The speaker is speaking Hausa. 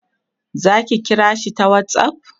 zaki kira shi ta whatsapp?